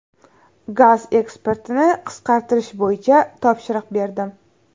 Gaz eksportini qisqartirish bo‘yicha topshiriq berdim.